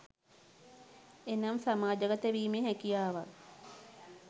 එනම් සමාජගත වීමේ හැකියාවක්